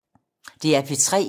DR P3